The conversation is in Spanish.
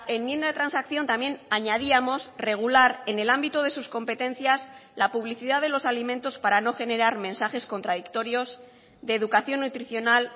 enmienda de transacción también añadíamos regular en el ámbito de sus competencias la publicidad de los alimentos para no generar mensajes contradictorios de educación nutricional